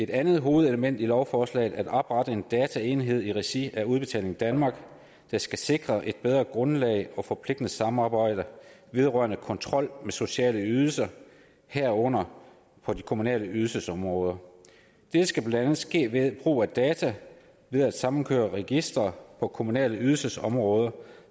andet hovedelement i lovforslaget at oprette en dataenhed i regi af udbetaling danmark der skal sikre et bedre grundlag og forpligtende samarbejde vedrørende kontrol med sociale ydelser herunder på de kommunale ydelsesområder dette skal blandt andet ske ved brug af data ved at samkøre registre på kommunale ydelsesområder